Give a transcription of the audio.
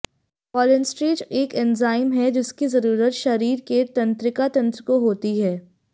cholinesterase एक enzyme है जिसकी ज़रूरत शरीर के तंत्रिका तंत्र को होती है